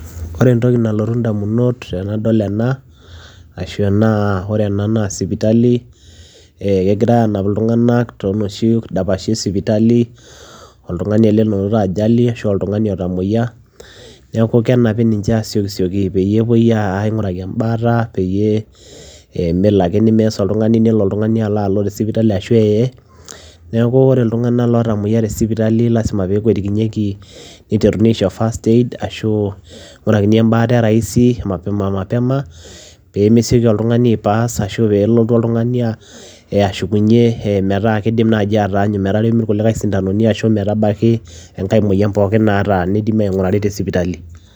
Ore entoki nalotu ndamunot tenadol ena ashu enaa ore ena naa sipitali ee kegirai aanap iltung'anak too noshi dapashi e sipitali, oltung'ani ele loinoto ajali ashu oltung'ani otamueyia. Neeku kenapi ninche aasiokisioki peyie epuoi a aing'uraki embaata peyie ee melo ake nimess oltung'ani nelo oltung'ani alo alo te sipitali ashu eye. Neeku ore iltung'anak lootamueyia te sipitali lazima pee ekuitikinyieki niteruni aisho fisrt aid ashu ing'urakini embaata rahisi mapema mapema pee mesioki oltung'ani aipass ashu peelotu oltung'ani aa ashukunye ee metaa kiidim naaji ataanyu metaremi irkulikai sindanoni ashu metabaki enkae moyian pookin naata niidimi aing'urari te sipitali.